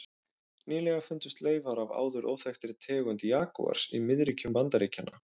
Nýlega fundust leifar af áður óþekktri tegund jagúars í miðríkjum Bandaríkjanna.